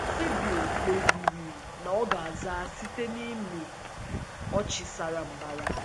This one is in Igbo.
Sybil kpebiri na ọ ga-aza site um n’ịmị n’ịmị ọchị sara mbara.